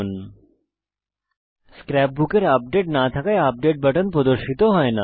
যেহেতু এখানে scrapbook এর কোনো আপডেট নেই আপডেট বাটন প্রদর্শিত হয় না